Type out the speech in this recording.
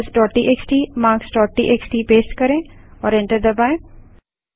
numbersटीएक्सटी marks TXT paste करें और enter दबायें